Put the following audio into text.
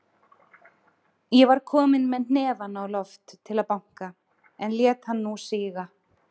Ég var kominn með hnefann á loft til að banka, en lét hann nú síga.